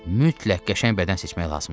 Mütləq qəşəng bədən seçmək lazımdır.